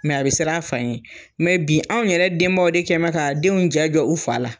a be sir'a fa ɲɛ. bi anw yɛrɛ denbaw de kɛnbɛ kaa denw ja jɔ u fa la.